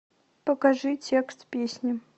покажи текст песни